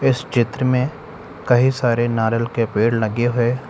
इस चित्र में कही सारे नारियल के पेड़ लगे है।